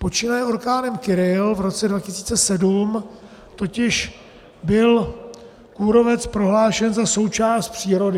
Počínaje orkánem Kyrill v roce 2007 totiž byl kůrovec prohlášen za součást přírody.